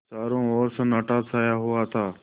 चारों ओर सन्नाटा छाया हुआ था